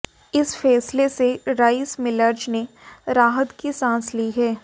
इस फैसले से राइस मिलर्ज ने राहत की सांस ली है